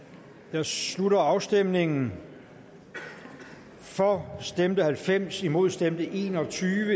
jeg slutter afstemningen for stemte halvfems imod stemte en og tyve